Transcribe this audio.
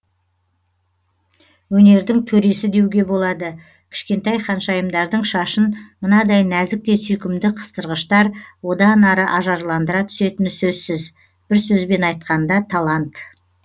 өнердің төресі деуге болады кішкентай ханшайымдардың шашын мынадай нәзік те сүйкімді қыстырғыштар одан ары ажарландыра түсетіні сөзсіз бір сөзбен айтқанда талант